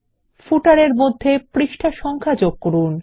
পাদলেখ এ মধ্যে পৃষ্ঠা সংখ্যা যোগ করুন